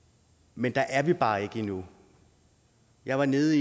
men der er vi bare ikke endnu jeg var nede